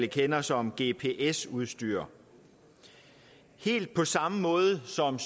kender som gps udstyr helt på samme måde som